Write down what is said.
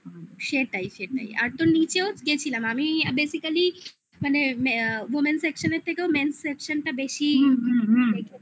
সেটাই সেটাই আর তো নিচেও গেছিলাম আমি basically মানে মানে women section এর থেকেও male section টা বেশি দেখেছিলাম